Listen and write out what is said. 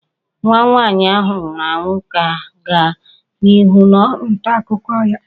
Nwa nwaanyị ahụ nwụrụ anwụ ga-aga n'ihu n'ọrụ nta akụkọ ya